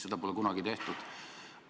Seda pole varem kunagi tehtud.